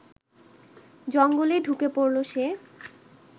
জঙ্গলে ঢুকে পড়ল সে